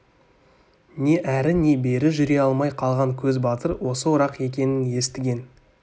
не әрі не бері жүре алмай қалған көз батыр осы орақ екенін естіген